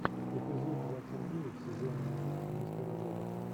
эпизод двадцать девять сезон один мистера робота